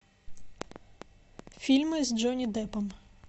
фильмы с джонни деппом